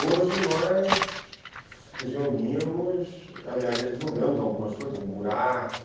Hoje nós nos reunimos, às vezes jogamos algumas coisas, um buraco...